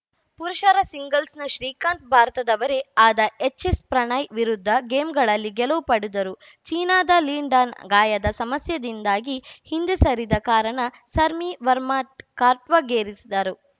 ಪುರುಷರ ಸಿಂಗಲ್ಸ್‌ನ ಶ್ರೀಕಾಂತ್‌ಭಾರತದವರೇ ಆದ ಎಚ್‌ಎಸ್‌ಪ್ರಣಯ್‌ ವಿರುದ್ಧ ಗೇಮ್‌ಗಳಲ್ಲಿ ಗೆಲುವು ಪಡೆದರು ಚೀನಾದ ಲಿನ್‌ ಡಾನ್‌ ಗಾಯದ ಸಮಸ್ಯೆಯಿಂದಾಗಿ ಹಿಂದೆ ಸರಿದ ಕಾರಣ ಸರ್ಮಿ ವರ್ಮಾ ಕಾರ್ಟ್ವಾಗೇರಿಸಿದರು